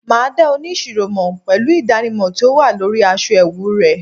ma da onisiro mo pelu idanimọ ti o wa lori aṣọ ẹwu rẹ